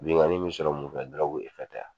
Bengani mɛ sɔrɔ mun fɛ tɛ wa.